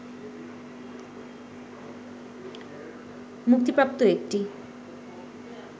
মুক্তিপ্রাপ্ত একটি